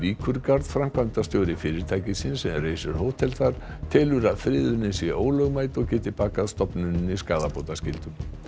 Víkurgarð framkvæmdastjóri fyrirtækisins sem reisir hótel þar telur að friðunin sé ólögmæt og geti bakað stofnuninni skaðabótaskyldu